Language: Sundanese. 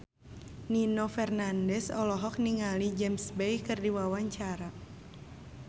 Nino Fernandez olohok ningali James Bay keur diwawancara